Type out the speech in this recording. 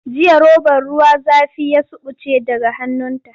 Jiya robar ruwa zafi ya suɓuce daga hannunta.